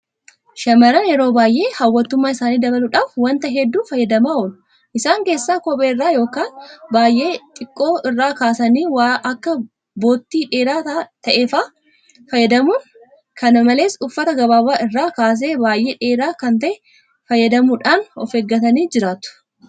Shaamarran yeroo baay'ee hawwattummaa isaanii dabaluudhaaf waanta hedduu fayyadamaa oolu. Isaan keessaa kophee irraa yookaane baay'ee xiqqoo irraa kaasanii waan akka bottii dheeraa ta'e fa'aa fayyadamu. kana malees uffata gaggabaabaa irraa kaasee baay'ee dheeraa kan ta'e fa'aa fayyadamuudhaan ofeeggatanii jiraatu.